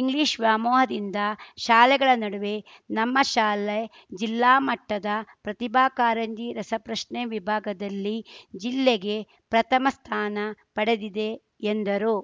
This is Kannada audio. ಇಂಗ್ಲಿಷ್‌ ವ್ಯಾಮೋಹದಿಂದ ಶಾಲೆಗಳ ನಡುವೆ ನಮ್ಮ ಶಾಲೆ ಜಿಲ್ಲಾ ಮಟ್ಟದ ಪ್ರತಿಭಾ ಕಾರಂಜಿ ರಸಪ್ರಶ್ನೆ ವಿಭಾಗದಲ್ಲಿ ಜಿಲ್ಲೆಗೆ ಪ್ರಥಮ ಸ್ಥಾನ ಪಡೆದಿದೆ ಎಂದರು